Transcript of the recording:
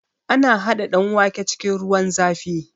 Ana haɗa danwake cikin ruwan zafi